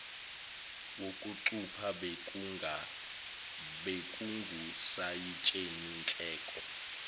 wokucupha bekungusayitsheni nhleko